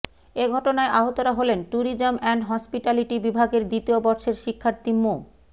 এ ঘটনায় আহতরা হলেন ট্যুরিজম অ্যান্ড হসপিটালিটি বিভাগের দ্বিতীয় বর্ষের শিক্ষার্থী মো